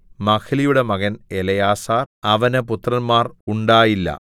മഹ്ലിയുടെ മകൻ എലെയാസാർ അവന് പുത്രന്മാർ ഉണ്ടായില്ല